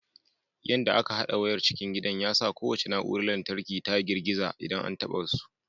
Yanda aka hada wayar cikin gidan ya sa kowace na'urar lantarki ta girgiza idan an taɓa su.